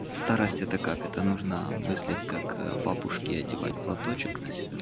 старость это как это нужно мыслить как бабушки одевать платочек на себя